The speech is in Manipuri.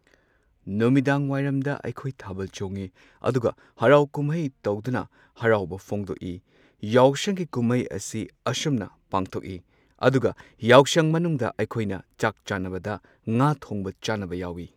ꯅꯨꯃꯤꯗꯥꯡ ꯋꯥꯏꯔꯝꯗ ꯑꯩꯈꯣꯏ ꯊꯥꯕꯜ ꯆꯣꯡꯉꯤ ꯑꯗꯨꯒ ꯍꯔꯥꯎ ꯀꯨꯝꯍꯩ ꯇꯧꯗꯨꯅ ꯍꯔꯥꯎꯕ ꯐꯣꯡꯗꯣꯛꯏ꯫ ꯌꯥꯎꯁꯪꯒꯤ ꯀꯨꯝꯍꯩ ꯑꯁꯤ ꯑꯁꯨꯝꯅ ꯄꯥꯡꯊꯣꯛꯏ꯫ ꯑꯗꯨꯒ ꯌꯥꯎꯁꯪ ꯃꯅꯨꯡꯗ ꯑꯩꯈꯣꯏꯅ ꯆꯥꯛ ꯆꯥꯅꯕꯗ ꯉꯥ ꯊꯣꯡꯕ ꯆꯥꯅꯕ ꯌꯥꯎꯋꯤ꯫